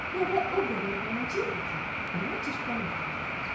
Nəvə o qədər balaca idi ki, ona cırtdan deyirdilər.